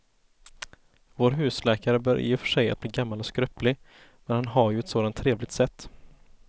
Vår husläkare börjar i och för sig bli gammal och skröplig, men han har ju ett sådant trevligt sätt!